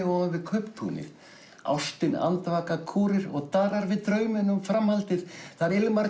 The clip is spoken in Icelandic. ofan við kauptúnið ástin andvaka kúrir og daðrar við drauminn um framhaldið þar Ilmar